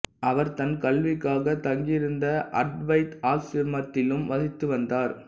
அவர் தன் கல்விக்காக தங்கியிருந்த அத்வைத ஆசிரமத்திலும் வசித்து வந்தார்